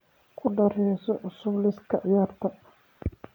ku dar heeso cusub liiska ciyaarta